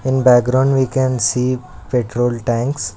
In background we can see petrol tanks.